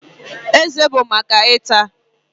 Eze bụ maka ịta